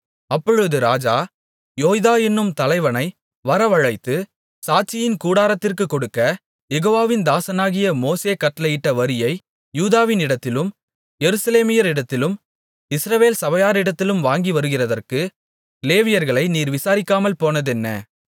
அப்பொழுது ராஜா யோய்தா என்னும் தலைவனை வரவழைத்து சாட்சியின் கூடாரத்திற்குக் கொடுக்க யெகோவாவின் தாசனாகிய மோசே கட்டளையிட்ட வரியை யூதாவினிடத்திலும் எருசலேமியரிடத்திலும் இஸ்ரவேல் சபையாரிடத்திலும் வாங்கி வருகிறதற்கு லேவியர்களை நீர் விசாரிக்காமல் போனதென்ன